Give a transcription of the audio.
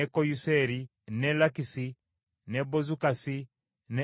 n’e Lakisi, n’e Bozukasi, n’e Eguloni,